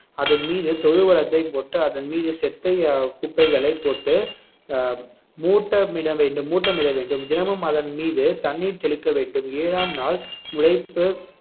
அதன் மீது தொழுவுறத்தை போட்டு அதன் மீது அஹ் குப்பைகளை போட்டு அஹ் மூட்டமிட வேண்டும் மூட்டமிட வேண்டும் தினமும் அதன் மீது தண்ணீர் தெளிக்க வேண்டும் ஏழாம் நாள் முளைப்பு